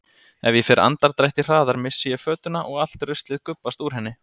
Ef ég fer andardrætti hraðar missi ég fötuna og allt ruslið gubbast úr henni.